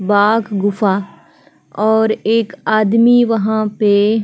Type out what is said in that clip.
बाघ गुफा और एक आदमी वहाँ पे --